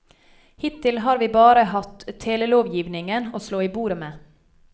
Hittil har vi bare hatt telelovgivningen å slå i bordet med.